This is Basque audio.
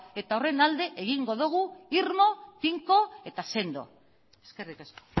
eta horren alde egingo dugu irmo tinko eta sendo eskerrik asko